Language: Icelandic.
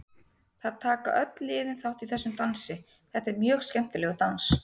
Það taka öll liðin þátt í þessum dansi, þetta er mjög skemmtilegur dans.